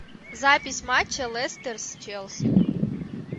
запись матча лестер с челси